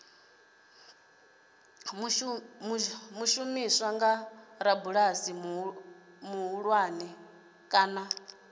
shumiswa nga rabulasi muṱuku kana